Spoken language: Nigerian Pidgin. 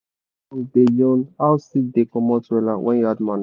farm work song da yan how seed da comot wella wen u add manure